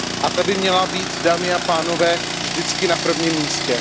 Ta by měla být, dámy a pánové, vždy na prvním místě.